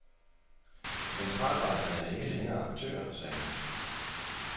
Centralbankerne er ikke længere aktører, sagde han.